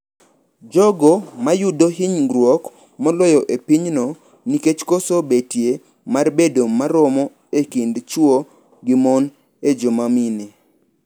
Jogo ma yudo hinyruok moloyo e pinyno nikech koso betie mar bedo maromo e kind chwo gi mom en joma mine.